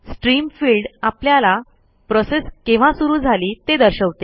stream field आपल्याला process केव्हा सुरू झाली ते दर्शवते